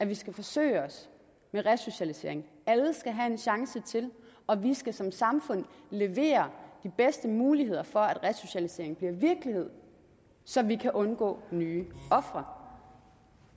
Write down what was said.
vi skal forsøge os med resocialisering alle skal have en chance til og vi skal som samfund levere de bedste muligheder for at resocialisering bliver virkelighed så vi undgår nye ofre